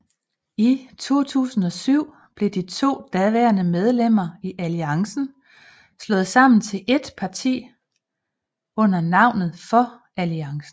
I 2007 blev de to daværende medlemmer i alliancen slået sammen til et parti under navnet for alliancen